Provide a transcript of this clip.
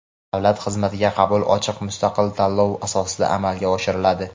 Davlat xizmatiga qabul ochiq mustaqil tanlov asosida amalga oshiriladi.